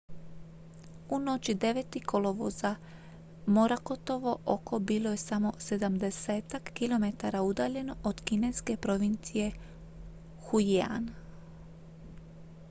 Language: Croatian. u noći 9. kolovoza morakotovo oko bilo je samo sedamdesetak kilometara udaljeno od kineske provincije fujian